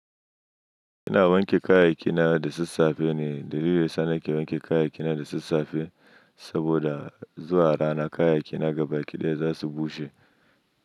Ina wanke kayayyakina da sassafe ne. Da dare sana ke wanke kayayyakina da sassafe, saboda zuwa rana kayayyakina gaba ɗaya za su bushe.